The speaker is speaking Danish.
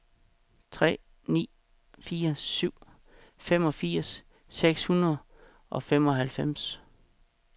tre ni fire syv femogfirs seks hundrede og femoghalvfems